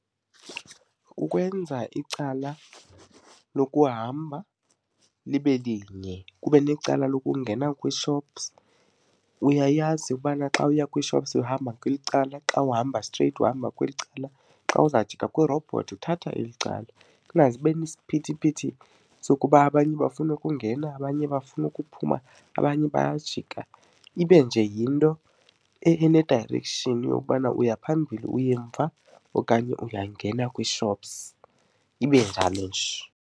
Ukwenza icala lokuhamba libe linye kube necala lokungena kwii-shops. Uyayazi ubana xa uya kwii-shops uhamba kweli cala, xa uhamba straight uhamba kweli cala, xa uzawujika kwirobhothi uthatha eli cala. Kungaze kube nesiphithiphithi sokuba abanye bafuna ukungena, abanye bafuna ukuphuma abanye bayajika. Ibe nje yinto ene-direction yokubana uya phambili, uya emva okanye uyangena kwii-shops, ibe njalo nje.